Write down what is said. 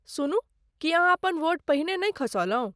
सुनू, की अहाँ अपन वोट पहिने नहि खसौलहुँ?